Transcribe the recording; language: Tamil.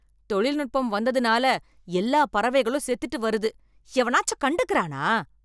தொழில்நுட்பம் வந்ததுனால எல்லா பறவைகளும் செத்துட்டு வருது, எவனாச்சு கண்டுக்கறானா?